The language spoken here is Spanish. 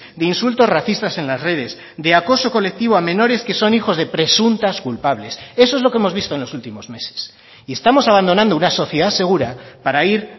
de insultos racistas en las redes de acoso colectivo a menores que son hijos de presuntas culpables eso es lo que hemos visto en los últimos meses y estamos abandonando una sociedad segura para ir